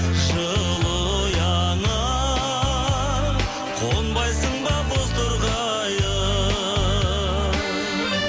жылы ұяңа қонбайсың ба бозторғайым